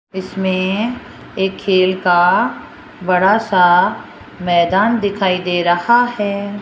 इसमें एक खेल का बड़ा सा मैदान दिखाई दे रहा है।